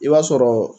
I b'a sɔrɔ